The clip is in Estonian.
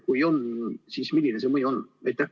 Kui on, siis milline see mõju on?